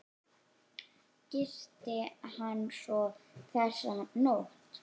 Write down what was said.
Gisti hann svo þessa nótt?